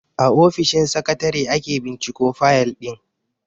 A ofishin sakatare ake binciko fayal din.